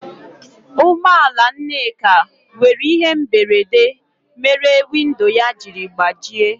Ụgbọ ala Nneka nwere ihe mberede mere windo ya jiri gbajie.